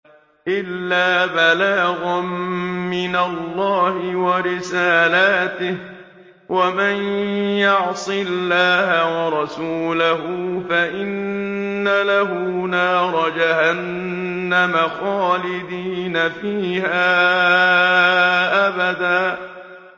إِلَّا بَلَاغًا مِّنَ اللَّهِ وَرِسَالَاتِهِ ۚ وَمَن يَعْصِ اللَّهَ وَرَسُولَهُ فَإِنَّ لَهُ نَارَ جَهَنَّمَ خَالِدِينَ فِيهَا أَبَدًا